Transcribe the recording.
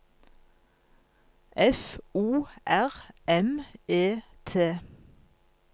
F O R M E T